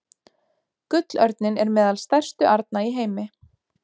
Gullörninn er meðal stærstu arna í heimi.